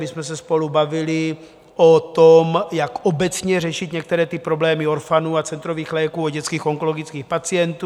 My jsme se spolu bavili o tom, jak obecně řešit některé ty problémy orphanů a centrových léků u dětských onkologických pacientů.